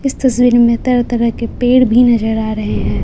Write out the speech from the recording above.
इस तस्वीर में तरह-तरह के पेड़ भी नजर आ रहे हैं।